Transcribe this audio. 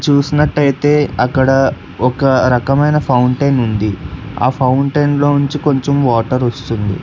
చూసినట్టయితే అక్కడ ఒక రకమైన ఫౌంటెన్ ఉంది ఆ ఫౌంటెన్ లో ఉంచి కొంచెం వాటర్ వస్తుంది